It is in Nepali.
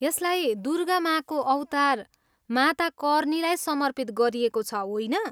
यसलाई दुर्गा माँको अवतार माता कर्नीलाई समर्पित गरिएको छ होइन?